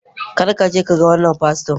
kar ka je ka ga wannan fasto!